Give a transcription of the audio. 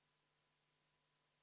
Eelnõu 535 on tagasi lükatud.